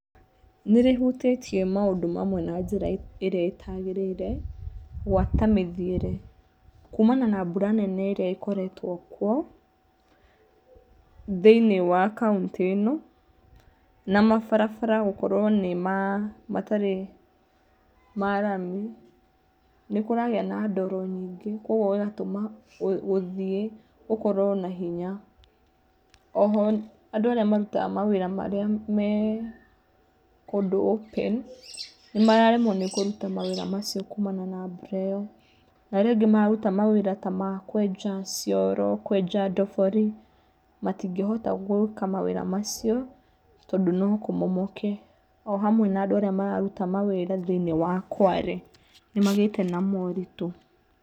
Nĩrĩ hutĩtie maũndu mamwe na njĩra ĩrĩa ĩtagĩrĩire gwata mĩthiĩre. Kumana na mbura nene ĩrĩa ĩkoretwo kwo thĩ~inĩ wa kautĩ ĩno na ma barabara gũkorwo matarĩ marami nĩkuragĩa na ndoro nyingĩ kogwo gugatũma gũthiĩ gũkorwo na hinya. Oho andũ arĩa marutaga mawĩra marĩa me kũndũ open nĩ mararemwo nĩ kũruta mawĩra macio kumana na mbura ĩyo. Na arĩa angĩ mararuta mawĩra ta ma kwenja cioro, kwenja ndobori matingĩhota gwĩka mawĩra macio tondũ no kumomoke. Ohamwe na andũ arĩa mararuta mawĩra thĩ~inĩ wa kware nĩ magĩte na moritũ.